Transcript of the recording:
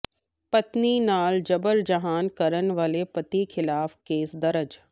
ਪਤਨੀ ਨਾਲ ਜਬਰ ਜਨਾਹ ਕਰਨ ਵਾਲੇ ਪਤੀ ਖਿਲਾਫ਼ ਕੇਸ ਦਰਜ